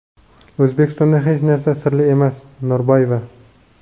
O‘zbekistonda hech narsa sirli emas – Norboyeva.